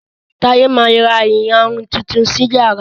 Taye má rà iyarun Titun sí iyàrá